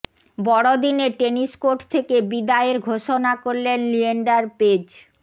বড়দিনে tennis court থেকে বিদায়ের ঘোষণা করলেন লিয়েন্ডার পেজ